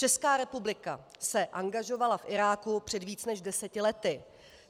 Česká republika se angažovala v Iráku před více než deseti lety.